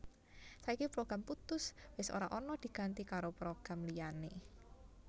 Saiki program Puttus wis ora ana diganti karo program liyané